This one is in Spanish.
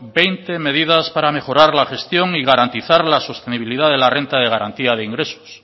veinte medidas para mejorar la gestión y garantizar la sostenibilidad de la renta de garantía de ingresos